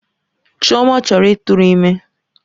Chioma chọrọ ịtụrụ ime.